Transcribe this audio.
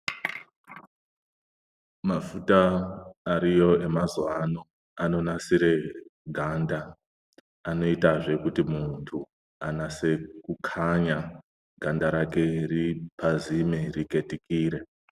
Mafuta ariyo emazuwano anonasire ganda, anoitazve kuti muntu anase kukhanya, ganda rake ripazime, riketikire.